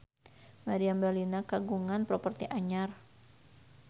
Meriam Bellina kagungan properti anyar